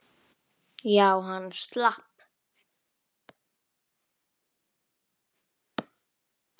Já, hann slapp.